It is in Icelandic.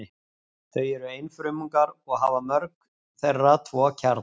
Þau eru einfrumungar og hafa mörg þeirra tvo kjarna.